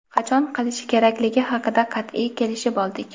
qachon qilishi kerakligi haqida qat’iy kelishib oldik.